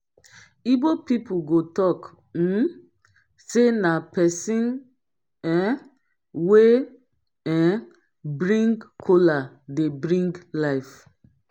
igbo pipol go talk um say na pesin um wey um bring kola dey bring life